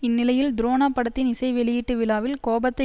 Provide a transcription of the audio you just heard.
இந்நிலையில் துரோணா படத்தின் இசை வெளியீட்டு விழாவில் கோபத்தை